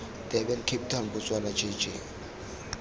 durban cape town botswana jj